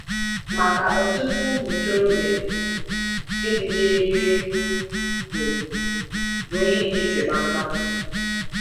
Maka ọtụtụ ụmụ ntorobịa, ịdị gịrịgịrị bụ bụ ihe nkịtị kpamkpam.